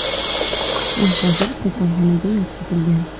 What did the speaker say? U hozir kasalxonaga yotqizilgan.